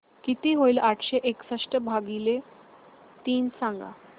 किती होईल आठशे एकसष्ट भागीले तीन सांगा